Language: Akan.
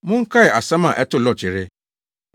Monkae asɛm a ɛtoo Lot yere.